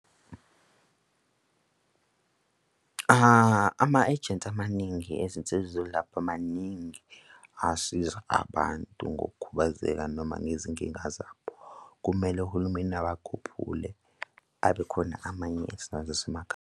Ama-ejensi amaningi ezinsiza zokulapha maningi asiza abantu ngokukhubazeka noma ngezinkinga zabo. Kumele uhulumeni abakhuphule kube khona amanye esinawo zasemakhaya.